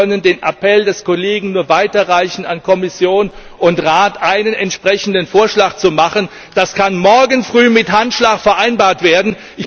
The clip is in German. Wir können den Appell des Kollegen nur weiterreichen an Kommission und Rat, einen entsprechenden Vorschlag zu machen. Das kann morgen früh mit Handschlag vereinbart werden.